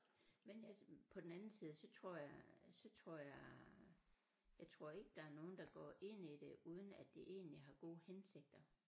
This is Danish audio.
Men altså på den anden side så tror jeg så tror jeg jeg tror ikke der er nogen der går ind i det uden at de egentligt har gode hensigter